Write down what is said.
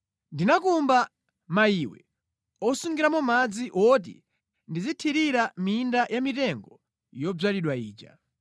Ndinakumba mayiwe osungiramo madzi woti ndizithirira minda ya mitengo yodzalidwa ija.